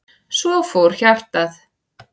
Svo fór hjartað.